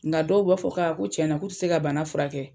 Nga dɔw b'a fɔ k'a ko cɛna k'u te se ka bana furakɛ kɛ